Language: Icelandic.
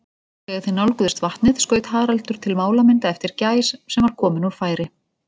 Þegar þeir nálguðust vatnið, skaut Haraldur til málamynda eftir gæs, sem var komin úr færi.